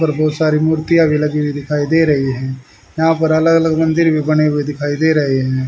और बहुत सारी मूर्तियां भी लगी हुई दिखाई दे रही है यहां पर अलग अलग मंदिर भी बने हुए दिखाई दे रहे हैं।